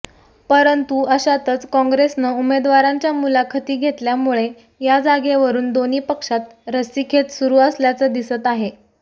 परंतु अशातच काँग्रेसनं उमेदवारांच्या मुलाखती घेतल्यामुळे या जागेवरुन दोन्ही पक्षात रस्सीखेच सुरु असल्याचं दिसत आहे